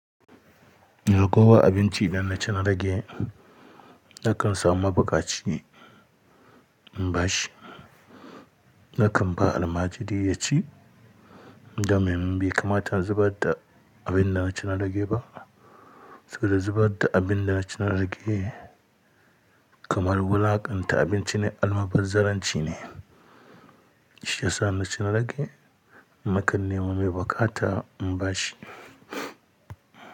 Kowa abinci da naci na rage nakan samu ma baƙa ci im ba shi. Nakan ba almajiri ya ci, domin bai kamata in zubar da abin da naci na rage ba. Saboda zubar da abin da naci na rage kamar wulaƙanta abinci ne, almaɓar zalunci ne, shi yasa naci na rage nakan nema mai buƙa ta im ba shi.